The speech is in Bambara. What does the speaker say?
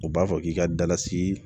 U b'a fɔ k'i ka dala si